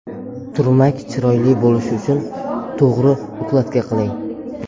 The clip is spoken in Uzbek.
Turmak chiroyli bo‘lishi uchun to‘g‘ri ukladka qiling.